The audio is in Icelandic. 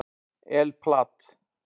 El Plat